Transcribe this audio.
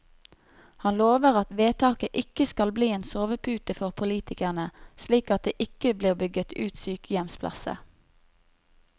Han lover at vedtaket ikke skal bli en sovepute for politikerne, slik at det ikke blir bygget ut sykehjemsplasser.